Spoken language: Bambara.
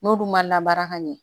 N'olu ma labaara ka ɲɛ